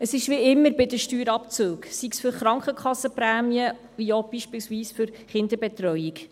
Es ist wie immer bei den Steuerabzügen, sei es für die Krankenkassenprämien oder beispielsweise auch für die Kinderbetreuung: